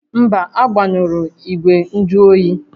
Mba, agbanyụrụ ígwè njụ oyi